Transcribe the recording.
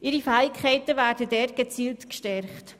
Ihre Fähigkeiten werden dort gezielt gefördert.